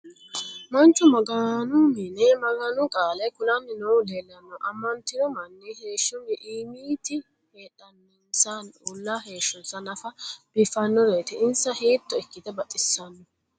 Manchu maganu minne maganu qaale kulanni noohu leelanno. Amanttinno manni heeshsho immitti heedhenansanni uulla heeshonsa naffa biiffinoreetti insa hiitto ikkitte baxxissanno.